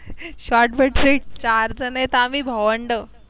चार आहेत आम्ही भावंड